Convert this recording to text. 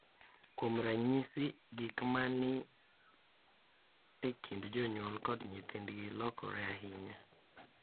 Kuom ranyisi, gik ma ni e kind jonyuol kod nyithindgi lokore ahinya .